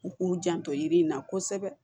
U k'u janto yiri in na kosɛbɛ